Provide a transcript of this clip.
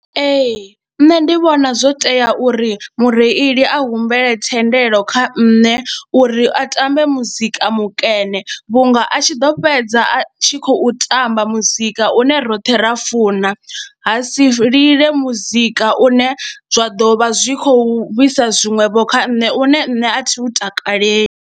Ee, nṋe ndi vhona zwo tea uri mureili a humbele thendelo kha nṋe uri a tambe muzika mukene vhunga a tshi ḓo fhedza a tshi khou u tamba muzika une roṱhe ra funa ha si lile muzika une zwa ḓo vha zwi khou vhi sa zwiṅwevho kha nṋe une nṋe a thi u takaleli.